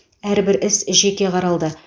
әрбір іс жеке қаралды